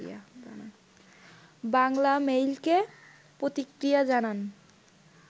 বাংলামেইলকে প্রতিক্রিয়া জানান